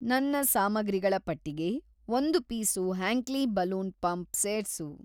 ನನ್ನ ಸಾಮಗ್ರಿಗಳ ಪಟ್ಟಿಗೆ ಒಂದು ಪೀಸು ಹ್ಯಾಂಕ್ಲಿ ಬಲೂನ್‌ ಪಂಪ್ ಸೇರ್ಸು.